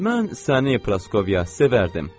Mən səni Praskovya sevərdim.